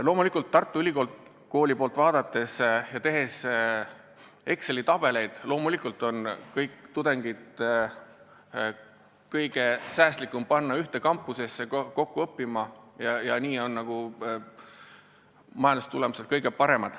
Loomulikult, Tartu Ülikooli seisukohalt vaadates ja Exceli tabelite järgi on säästlikum panna kõik tudengid ühte kampusesse kokku õppima ja nii on maailmas tulemused kõige paremad.